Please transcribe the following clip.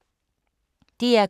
DR K